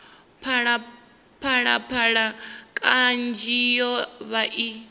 phalaphala kanzhi yo vha i